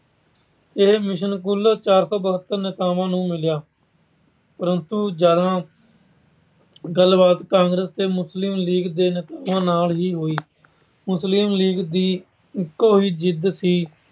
ਇਹ ਮਿਸ਼ਨ ਕੁੱਲ ਚਾਰ ਸੌ ਬਹਤਰ ਨੇਤਾਵਾਂ ਨੂੰ ਮਿਲਿਆ ਪਰੰਤੂ ਜਿਆਦਾ ਗਲਬਾਤ ਕਾਂਗਰਸ ਅਤੇ ਮੁਸਲਿਮ ਲੀਗ ਦੇ ਨੇਤਾਵਾਂ ਨਾਲ ਹੀ ਹੋਈ। ਮੁਸਲਿਮ ਲੀਗ ਦੀ ਇੱਕੋ ਹੀ ਜਿੱਦ ਸੀ